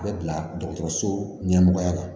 A bɛ bila dɔgɔtɔrɔso ɲɛmɔgɔya la